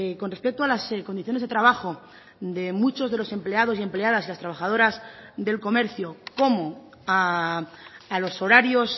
con respecto a las condiciones de trabajo de muchos de los empleados y empleadas y las trabajadoras del comercio como a los horarios